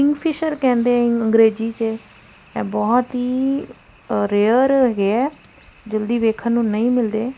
Kingfisher ਕਹਿੰਦੇ ਹੈ ਇਹਨੂੰ ਅੰਗਰੇਜ਼ੀ ਚ ਇਹ ਬਹੁਤ ਹੀ ਰੇਅਰ ਹੈ ਜਲਦੀ ਵੇਖਨ ਨੂੰ ਨਹੀਂ ਮਿਲਦੇ।